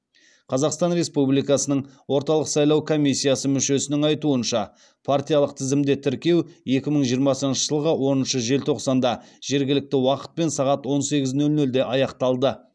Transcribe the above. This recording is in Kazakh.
қазақстан республикасының орталық сайлау комиссиясы мүшесінің айтуынша партиялық тізімді тіркеу екі мың жиырмасыншы жылғы оныншы желтоқсанда жергілікті уақытпен сағат он сегіз нөл нөлде аяқталды